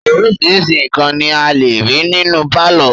Oríṣiríṣi nǹkan ni a lè rí nínú pálọ̀.